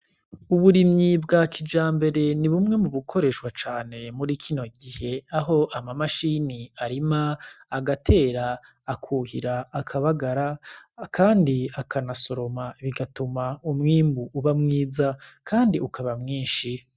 Uburimyi bwa kija mbere ni bumwe mu bukoreshwa cane muri kino gihe aho ama mashini arima agatera akuhira akabagara, kandi akana soroma bigatuma umwimbu uba mwiza, kandi ukaba mwinshi.